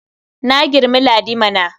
Na girmi Ladi mana.